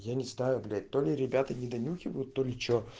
я не знаю блять то ли ребята не донюхивают то ли что